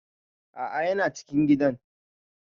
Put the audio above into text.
A'a yana cikin gidan